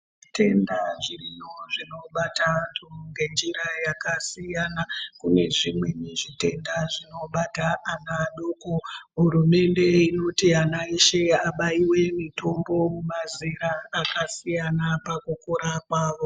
Zvitenda zviriyo zvinobata antu nge njira yaka siyana kune zvimweni zvitenda zvinobata ana adoko hurumende inoti ana eshe abaiwe mitombo mazera aka siyana paku kura kwavo.